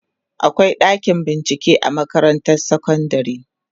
akwai ɗakin bincike a makarantar sekondari